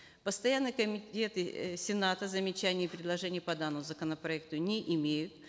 постоянные комитеты э сената замечаний и предложений по данному законопроекту не имеют